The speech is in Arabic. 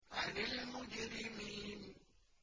عَنِ الْمُجْرِمِينَ